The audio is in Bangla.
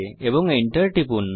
Enter টিপুন